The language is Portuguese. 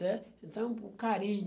né? Então, o carinho.